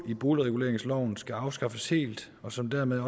i boligreguleringsloven skal afskaffes helt og som dermed